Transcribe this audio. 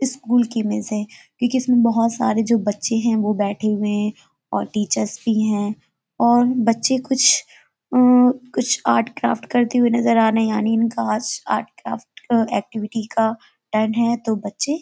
school की image है क्योंकि इसमें बहुत सारे जो बच्चे हैं वो बैठे हुए हैं और टीचर्स भी हैं और बच्चे कुछ अं कुछ आर्ट क्राफ्ट करते हुए नजर आ रहे हैं यानी इनका आज आर्ट क्राफ्ट का एक्टिविटी का टर्न है तो बच्चे --